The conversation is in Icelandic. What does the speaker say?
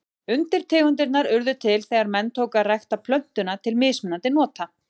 Undirtegundirnar urðu til þegar menn tóku að rækta plöntuna til mismunandi nota.